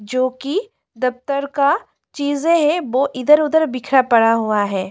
जो कि दफ्तर का चीजें हैं वो इधर उधर बिखरा पड़ा हुआ है।